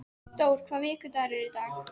Dór, hvaða vikudagur er í dag?